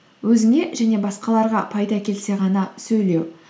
өзіңе және басқаларға пайда келсе ғана сөйлеу